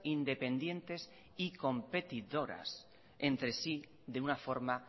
independientes y competidoras entre sí de una forma